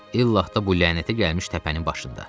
İllah da bu lənətə gəlmiş təpənin başında.